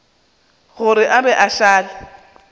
gore a be a šale